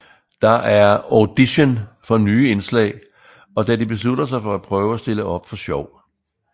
Der er audition for nye indslag og da de beslutter sig for at prøve at stille op for sjov